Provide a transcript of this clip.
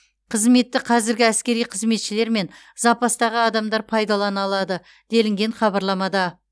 қызметті қазіргі әскери қызметшілер мен запастағы адамдар пайдалана алады делінген хабарламада